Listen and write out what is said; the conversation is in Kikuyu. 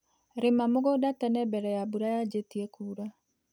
Rĩma mũgũnda tene mbere ya mbura nyanjĩtie kuura.